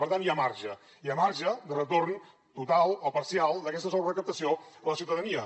per tant hi ha marge hi ha marge de retorn total o parcial d’aquesta sobrerecaptació a la ciutadania